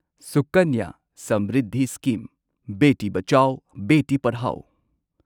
Sukanya Samriddhi scheme Beti Bachao Beti Padhao